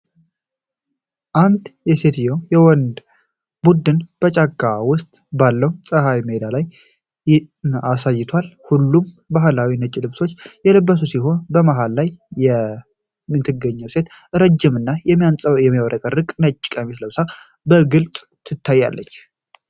አንድ የሴቶችና የወንዶች ቡድን በጫካ ውስጥ ባለው ፀሐያማ ሜዳ ላይ አሳይቷል። ሁሉም በባህላዊ ነጭ ልብሶች የለበሱ ሲሆን፣ ከመሃል ላይ የምትገኘው ሴት ረዥም እና የሚያብረቀርቅ ነጭ ቀሚስ ለብሳ በግልጽ ትታያለች።